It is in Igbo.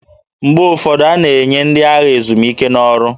Mgbe ụfọdụ, a na-enye ndị agha ezumike n'ọrụ